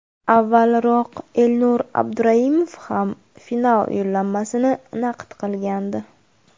Avvalroq Elnur Abduraimov ham final yo‘llanmasini naqd qilgandi.